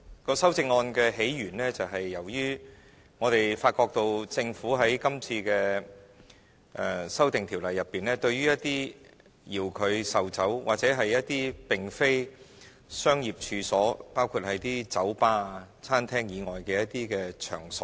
該修正案的起源是由於我們發覺政府在今次的《2017年應課稅品條例草案》中，沒有對一些遙距售酒或一些並非商業處所，包括酒吧、餐廳以外的一些場所規管。